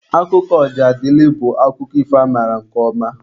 Akụkọ Ojadịlị bụ akụkọ ifo amaara nke ọma.